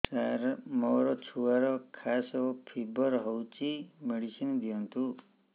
ସାର ମୋର ଛୁଆର ଖାସ ଓ ଫିବର ହଉଚି ମେଡିସିନ ଦିଅନ୍ତୁ